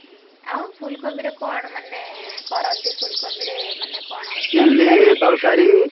ହୁଁ ଆଉ ଫୁଲକୋବିର କଣ ମାନେ କରନ୍ତି ଫୁଲକୋବିରେ ମାନେ କଣ? ।